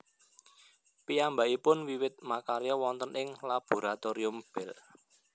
Piyambakipun wiwit makarya wonten ing Laboratorium Bell